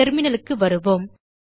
terminalக்கு வருவோம்